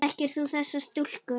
Þekkir þú þessa stúlku?